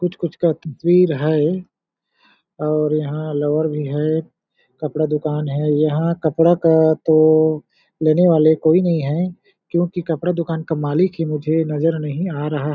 कुछ-कुछ का तो है और यहाँ लोअर भी है कपड़ा दुकान है यहाँ कपड़ा का तो लेने वाले कोई नहीं है क्योंकि कपड़ा दुकान का मालिक ही मुझे नज़र नहीं आ रहा--